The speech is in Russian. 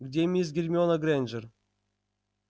где мисс гермиона грэйнджер